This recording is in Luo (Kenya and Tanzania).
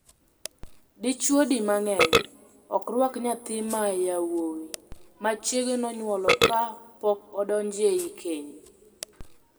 Dichwo di mang'eny ok rwak nyathi ma yawuowi ma chiege nonyuolo ka pok odonje e keny.